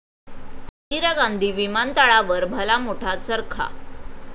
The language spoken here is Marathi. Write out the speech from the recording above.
इंदिरा गांधी विमानतळावर भला मोठा चरखा